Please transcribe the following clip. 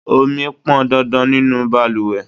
Ọmi pọn dandan nínú bàlùwẹ̀.